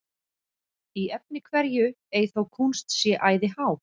Í efni hverju ei þó kúnst sé æði há,